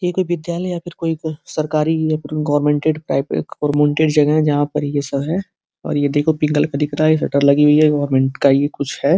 ये कोई विद्यालय या फिर कोई सरकारी या कोई गोरमेंटेड टाइप का गोरमेंटेड जगह है जहाँ पर ये सब है और ये देखो पिंक कलर का दिख रहा है। ये शटर लगी हुई है। गोरमेंट का ही कुछ है।